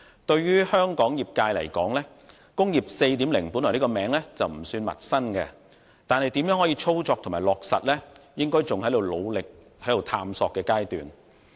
對於香港業界而言，"工業 4.0" 的名稱本來不算陌生，但如何操作和落實，應該仍在努力探索的階段。